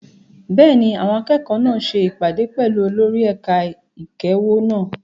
Bẹ́ẹ̀ni, àwọn akẹ́kọ̀ọ́ náà ṣe ìpàdé pẹ̀lú olórí ẹ̀ka ìkẹ́kọ̀ọ́ wọn.